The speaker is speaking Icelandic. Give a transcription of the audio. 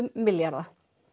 milljarða